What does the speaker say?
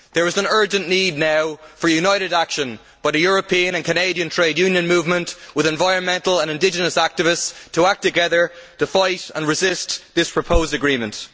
There is an urgent need now for united action by the European and Canadian trade union movement, with environmental and indigenous activists, to fight together and resist this proposed agreement.